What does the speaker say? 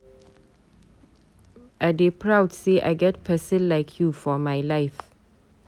I dey proud sey I get pesin like you for my life.